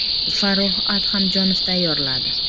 Farrux Adhamjonov tayyorladi.